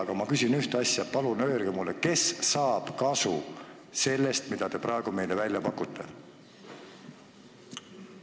Aga ma küsin ühte asja: palun öelge mulle, kes saab kasu sellest, mida te praegu meile välja pakute?